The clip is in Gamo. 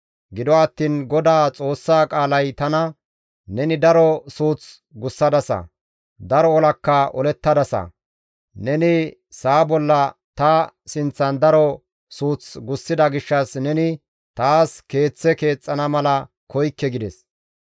Gido attiin Godaa Xoossaa qaalay tana, ‹Neni daro suuth gussadasa; daro olakka olettadasa; neni sa7a bolla ta sinththan daro suuth gussida gishshas neni taas Keeththe keexxana mala koykke› gides.